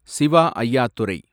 Siva Ayyadurai